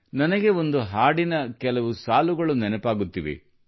ನನಗೆ ಒಂದು ಹಾಡಿನ ಕೆಲವು ಸಾಲುಗಳು ನೆನಪಾಗುತ್ತಿವೆ